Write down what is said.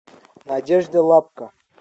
надежда лапка